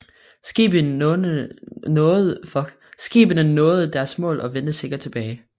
Skibene nåede deres mål og vendte sikkert tilbage